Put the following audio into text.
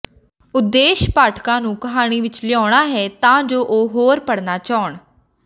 ਉਦੇਸ਼ ਪਾਠਕਾਂ ਨੂੰ ਕਹਾਣੀ ਵਿਚ ਲਿਆਉਣਾ ਹੈ ਤਾਂ ਜੋ ਉਹ ਹੋਰ ਪੜ੍ਹਨਾ ਚਾਹੁਣ